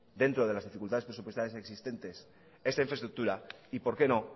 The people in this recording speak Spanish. dentro de las dificultades presupuestarias existentes esta infraestructura y por qué no